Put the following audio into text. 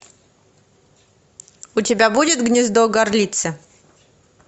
у тебя будет гнездо горлицы